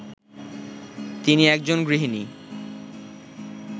তিনি একজন গৃহিণী